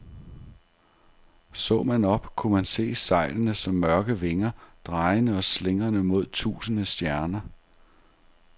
Så man op, kunne man se sejlene som mørke vinger, drejende og slingrende mod tusinde stjerner.